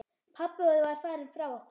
Pabbi var farinn frá okkur.